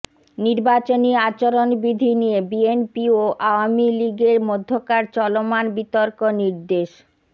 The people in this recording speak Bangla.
নির্বাচনী আচরণবিধি নিয়ে বিএনপি ও আওয়ামী লীগের মধ্যকার চলমান বিতর্ক নির্দেশ